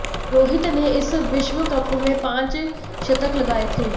रोहित ने इस विश्व कप में पांच शतक लगाए थे